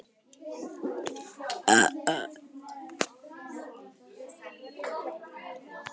Grímey, hvenær kemur strætó númer þrjátíu og tvö?